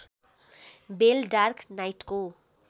बेल dark नाइटको